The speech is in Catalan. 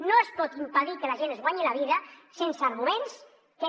no es pot impedir que la gent es guanyi la vida sense arguments que és